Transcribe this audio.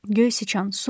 Göy sıçan su ver.